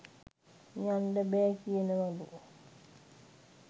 යන්ඩ බෑ කියනවලු.